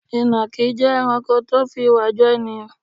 Ìnàkí jẹ́ ẹranko tó fi ìwà jọ ènìyàn.